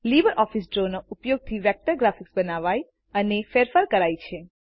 LibreOffice ડ્રોના ઉપયોગથી vector graphics બનાવાય અને ફેરફાર કરાય છે